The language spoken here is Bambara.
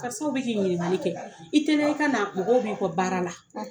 Karisaw bi k'i ɲinnikali kɛ, i teliya, i ka na, mɔgɔw bi kɔ baara la.